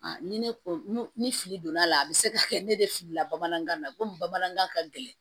ni ne ko ni fili donna a la a bi se ka kɛ ne de filila bamanankan na komi bamanankan ka gɛlɛn